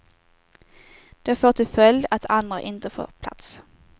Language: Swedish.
Det får till följd att andra inte får plats.